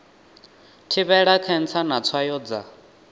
thivhela khentsa na tswayo dza